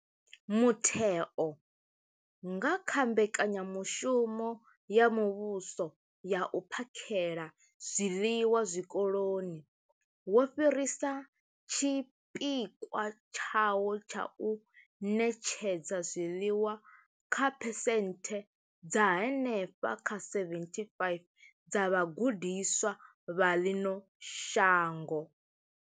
Mutheo, nga kha mbekanyamushumo ya muvhuso ya u phakhela zwiḽiwa zwikoloni, wo fhirisa tshipikwa tshawo tsha u ṋetshedza zwiḽiwa kha phesenthe dza henefha kha 75 dza vhagudiswa vha ḽino shango.